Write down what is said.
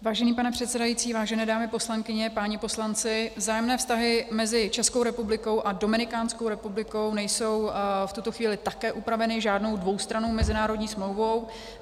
Vážený pane předsedající, vážené dámy poslankyně, páni poslanci, vzájemné vztahy mezi Českou republikou a Dominikánskou republikou nejsou v tuto chvíli také upraveny žádnou dvoustrannou mezinárodní smlouvou.